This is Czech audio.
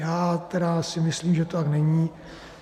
Já tedy si myslím, že to tak není.